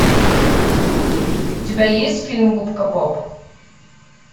у тебя есть фильм губка боб